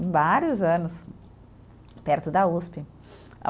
Em vários anos, perto da Uspe.